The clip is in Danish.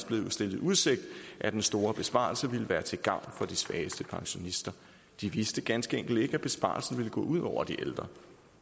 blevet stillet i udsigt at den store besparelse ville være til gavn for de svageste pensionister de vidste ganske enkelt ikke at besparelsen ville gå ud over de ældre